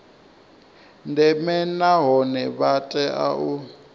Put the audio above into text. ndeme nahone vha tea u